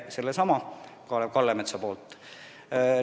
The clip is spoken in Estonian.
Seesama Kalev Kallemets tõi positiivse näite.